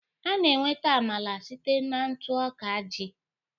A na-enweta Amala site na ntụ ọka ji